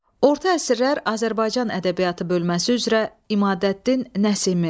Orta əsrlər Azərbaycan ədəbiyyatı bölməsi üzrə İmadəddin Nəsimi.